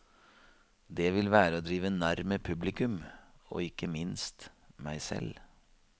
Det vil være å drive narr med publikum og ikke minst meg selv.